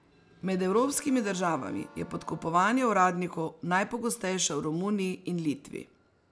Med evropskimi državami je podkupovanje uradnikov najpogostejše v Romuniji in Litvi.